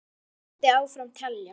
Og þannig mætti áfram telja.